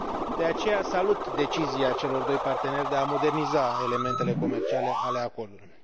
De aceea, salut decizia celor doi parteneri de a moderniza elementele comerciale ale acordului.